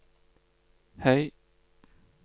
høy